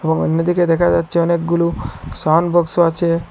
এবং অন্যদিকে দেখা যাচ্চে অনেকগুলো সাউন্ড বক্সও আচে।